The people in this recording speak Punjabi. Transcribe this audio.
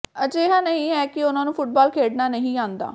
ਅਜਿਹਾ ਨਹੀਂ ਹੈ ਕਿ ਉਨ੍ਹਾਂ ਨੂੰ ਫੁੱਟਬਾਲ ਖੇਡਣਾ ਨਹੀਂ ਆਉਂਦਾ